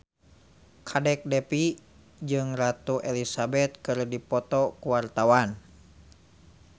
Kadek Devi jeung Ratu Elizabeth keur dipoto ku wartawan